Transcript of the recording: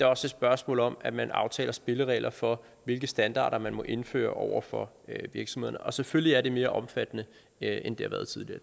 også et spørgsmål om at man aftaler spilleregler for hvilke standarder man må indføre over for virksomhederne og selvfølgelig er det mere omfattende end det har været tidligere